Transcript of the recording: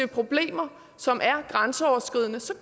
problemer som er grænseoverskridende så